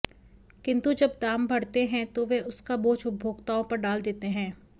किन्तु जब दाम बढ़ते हैं तो वे उसका बोझा उपभोक्ताओं पर डाल देते हैं